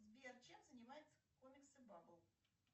сбер чем занимаются комиксы бабл